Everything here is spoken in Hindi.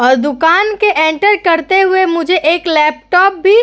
और दुकान के एंटर करते ही मुझे एक लैपटॉप भी --